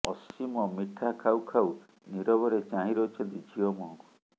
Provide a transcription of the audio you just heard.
ଅସୀମ ମିଠା ଖାଉ ଖାଉ ନୀରବରେ ଚାହିଁ ରହିଛନ୍ତି ଝିଅ ମୁହଁକୁ